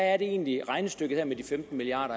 er det egentlig at regnestykket med de femten milliard